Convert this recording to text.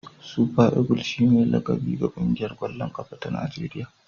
Super eagle shine laƙabi ga ƙungiyar ƙwallon ƙafa ta Najeriya.